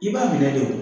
I b'a minɛ de wo